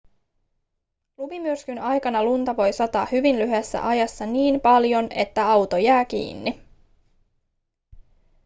lumimyrskyn aikana lunta voi sataa hyvin lyhyessä ajassa niin paljon että auto jää kiinni